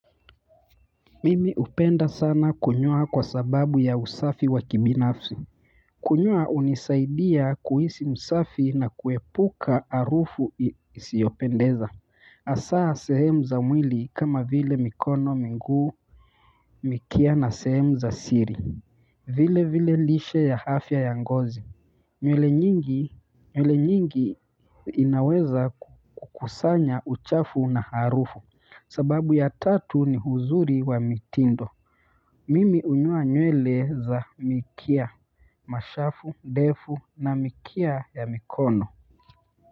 Mimi upenda sana kunyoa kwa sababu ya usafi wa kibinafsi kunyoa unisaidia kuhisi msafi na kuepuka arufu isiyopendeza hasaa sehemu za mwili kama vile mikono miguu mikia na sehemu za siri vile vile lishe ya hafya ya ngozi nywele nyingi inaweza kukusanya uchafu na harufu sababu ya tatu ni huzuri wa mitindo mimi unyoa nywele za mikia, mashafu, ndefu na mikia ya mikono.